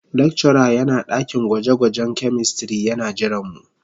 Lecturer yana dakin gwaje-gwajen chemistry yana jiranmu.